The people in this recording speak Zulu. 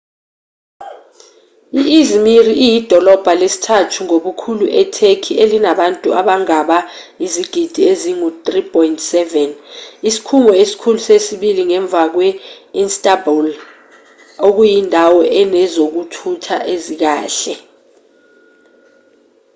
i-i̇zmir iyidolobha lesithathu ngobukhulu e-turkey elinabantu abangaba izigidi ezingu-3.7 isikhungo esikhulu sesibili ngemva kwe –istanbul okuyindawo enezokuthutha ezikahle